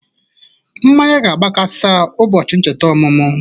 Mmanya ga-agba kasa ubọchi ncheta omụmụ